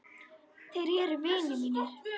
Þeir eru vinir mínir.